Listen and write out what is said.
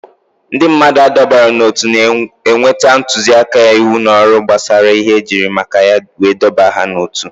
Ndị mmadụ adọbara n'ótú na-enweta ntụzịaka, íwú na ọrụ gbasara ihe ejiri maka ya wee dọbaa ha n'otu